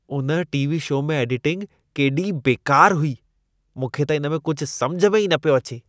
उन TV. Show में editing केॾी बेकार हुई। मूंखे त इन में कुझु समिझ में ई न पियो अचे।